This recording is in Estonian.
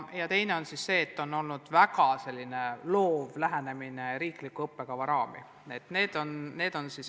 Teine põhjus on olnud see, et on olnud väga loov lähenemine riikliku õppekava raamistikule.